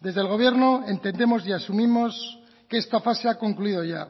desde el gobierno entendemos y asumimos que esta fase ha concluido ya